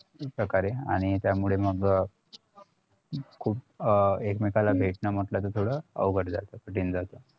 प्रकारे आणि त्यामूळे मग खुप एकमेकाला भेटन मग त्याचं ते थोडं अवघड जात कठीण जातं